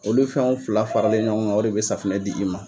Olu fɛnw fila faralen ɲɔgɔn kan o de bɛ safunɛ di i ma.